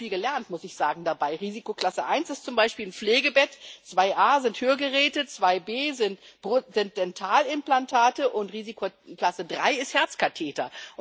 Ich habe dabei auch viel gelernt, muss ich sagen Risikoklasse 1 ist zum Beispiel ein Pflegebett, 2a sind Hörgeräte, 2b sind Dentalimplantate, und Risikoklasse 3 sind Herzkatheter.